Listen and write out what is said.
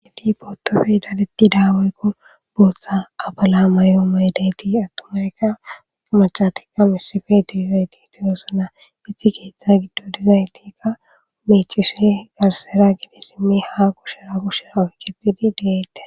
Liinuwappe dadeththida woykko booththaa apalaa mayuwa mayida aththumanne maccatikka issippe de7oosona; ethi keeththaa giddon de7oosona; banththa kushe isso issuwaara oykeththiuththidosona.